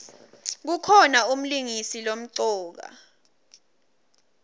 kukhona umlingisi lomcoka